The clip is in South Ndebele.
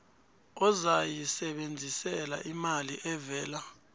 ozayisebenzisela imali evela